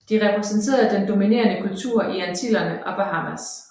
De repræsenterede den dominerende kultur i Antillerne og Bahamas